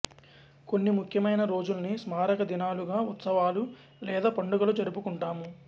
కొన్ని ముఖ్యమైన రోజుల్ని స్మారక దినాలుగా ఉత్సవాలు లేదా పండుగలు జరుపుకుంటాము